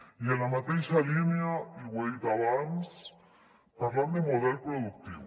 i en la mateixa línia i ho he dit abans parlant de model productiu